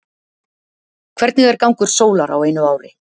Hvernig er gangur sólar á einu ári?